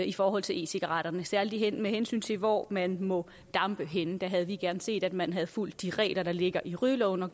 i forhold til e cigaretterne særlig med hensyn til hvor man må dampe henne der havde vi gerne set at man havde fulgt de regler der ligger i rygeloven og